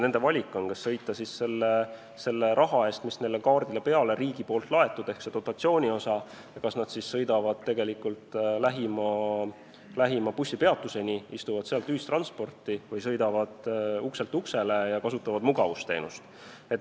Nad saavad ise valida, kas nad sõidavad riigi raha ehk dotatsiooniosa eest, mis on neile kaardile laetud, lähima bussipeatuseni, istuvad seal ühissõiduki peale, või sõidavad ukselt uksele ja kasutavad mugavusteenust.